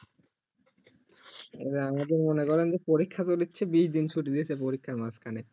এই যে আমাদের মনে করেন যে পরীক্ষা তো নিচ্ছে বিশ দিন ছুটি দিয়েছে পরিক্ষার মাঝখানে